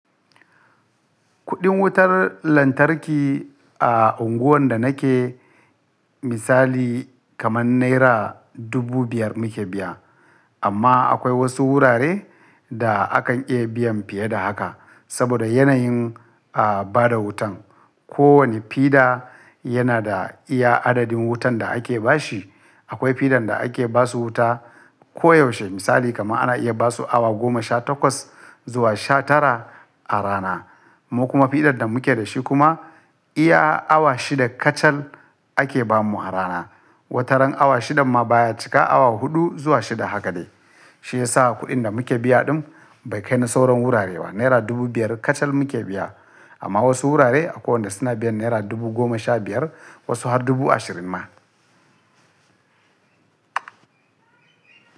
Kuɗin wutar lantarki a unguwar da nake misali kamar naira dubu biyar muke biya. Amma akwai wasu wurare da akan iya biyan fiye da haka saboda yanayin, ah bada wutan. Ko wane fida yana da iya adadin wutan da ake bashi. Akwai fidan da ake basu wuta ko yaushe misali kamar ana iya basu awa goma sha takwas zuwa sha tara a rana. Mu kuma fidar da muke da shi kuma iya awa shida kacal ake bamu a rana. Wata ran awa shidan ma baya cika awa huɗu zuwa shida haka dai. Shi ya sa kuɗin da muke biya ɗin bai kai na sauran wurare ba. Naira dubu biyar kacal muke biya amma wasu wurare akwai wadanda suna biyan naira dubu goma sha biyar wasu har dubu ashirin ma.